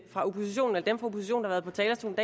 fra oppositionen der har været på talerstolen